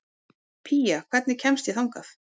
Pía, hvernig kemst ég þangað?